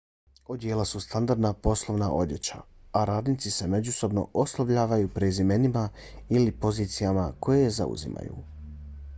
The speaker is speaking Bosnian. odijela su standardna poslovna odjeća a radnici se međusobno oslovljavaju prezimenima ili pozicijama koje zauzimaju